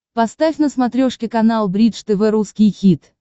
поставь на смотрешке канал бридж тв русский хит